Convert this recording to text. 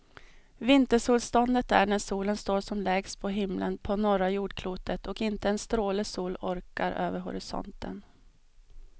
Vintersolståndet är när solen står som lägst på himlen på norra jordklotet och inte en stråle sol orkar över horisonten.